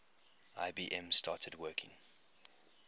ibm started working